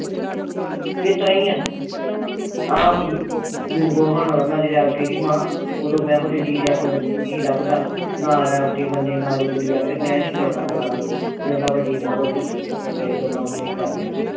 ਇਸ ਤਰ੍ਹਾਂ ਈ ਆ ਬਿੰਬੋ ਹੋਣਾ ਉਦੋ ਨਹੀ ਲੱਭਦਾ ਨਾ ਮੰਨੇ ਨਾ ਕੁੜੀ ਆਖੇ ਮੈਂ ਨੀ ਕਰਾਨਾ ਕੁਰਾਨਾ ਜੇ ਉਨ੍ਹਾਂ ਵੱਡੀ ਨੂੰ ਦੇਖਣ ਗਏ ਤੇ ਉਨ੍ਹਾਂ ਉਥੇ ਕਰ ਲਿਆ